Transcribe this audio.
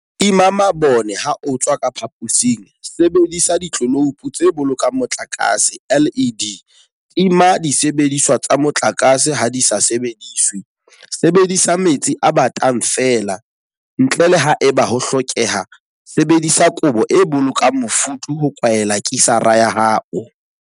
Tima mabone ha o tswa ka phaposing Sebedisa ditleloupo tse Bolokang Motlakase, LED. Tima disebediswa tsa motlakase ha di sa sebediswe Sebedisa metsi a batang feela, ntle le haeba ho hlokeha Sebedisa kobo e bolokang mofuthu ho kwaela kisara ya hao.